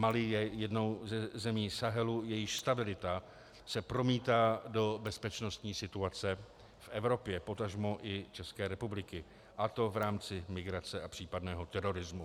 Mali je jednou ze zemí Sahelu, jejíž stabilita se promítá do bezpečnostní situace v Evropě, potažmo i České republice, a to v rámci migrace a případného terorismu.